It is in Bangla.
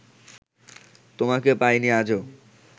তোমাকে পাইনি আজো